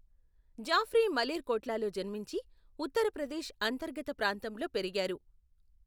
జాఫ్రీ మలేర్కోట్లాలో జన్మించి, ఉత్తరప్రదేశ్ అంతర్గత ప్రాంతంలో పెరిగారు.